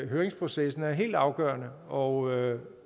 høringsprocessen er helt afgørende og